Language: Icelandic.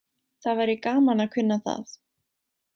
Það væri gaman að kunna það.